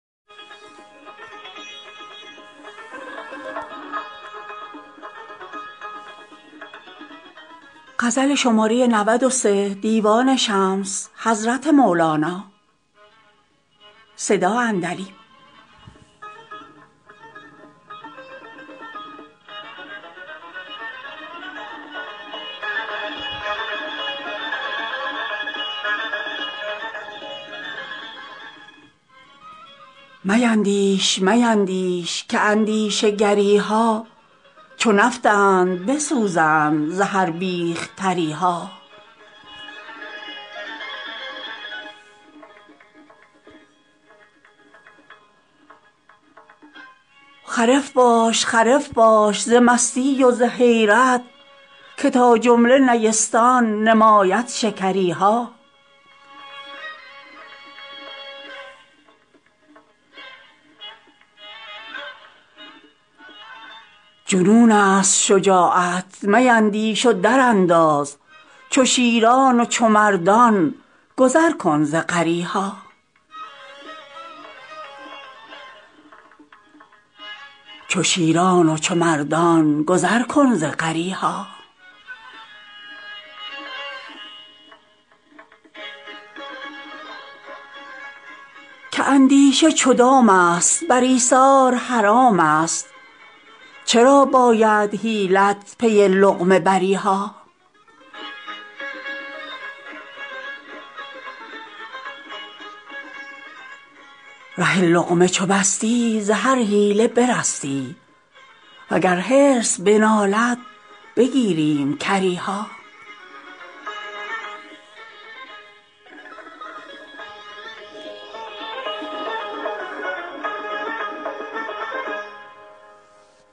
میندیش میندیش که اندیشه گری ها چو نفطند بسوزند ز هر بیخ تری ها خرف باش خرف باش ز مستی و ز حیرت که تا جمله نیستان نماید شکری ها جنونست شجاعت میندیش و درانداز چو شیران و چو مردان گذر کن ز غری ها که اندیشه چو دامست بر ایثار حرامست چرا باید حیلت پی لقمه بری ها ره لقمه چو بستی ز هر حیله برستی وگر حرص بنالد بگیریم کری ها